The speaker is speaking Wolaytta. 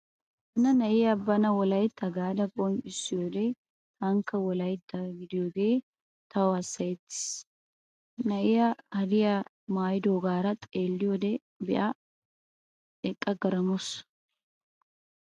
Hana na'iyaa bana wolaytta gaada qonccissiyoode taanikka wolaytta gidiyoogee tawu hassayetti aggiis. Na'iyaa hadiyaa maayidoogaara xeelliyode be'a niyyoo eqqa garmmaamawusu.